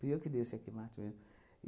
Fui eu que o check mate mesmo.